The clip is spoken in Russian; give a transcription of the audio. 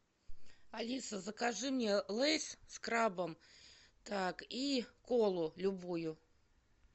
алиса закажи мне лейс с крабом так и колу любую